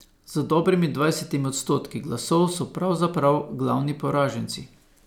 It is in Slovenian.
Z dobrimi dvajsetimi odstotki glasov so pravzaprav glavni poraženci.